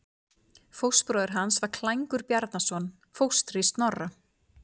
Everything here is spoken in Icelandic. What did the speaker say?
Fóstbróðir hans var Klængur Bjarnason, fóstri Snorra.